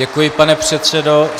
Děkuji, pane předsedo.